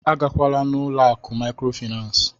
A gala n'ụlọ akụ mikrofinas!